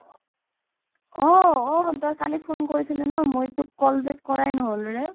ঔ অ' শুন তই কালি phone কৰিছিল ন' মই তোক call back কৰা নহ'ল ৰে